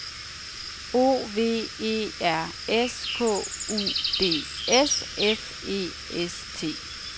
O V E R S K U D S F E S T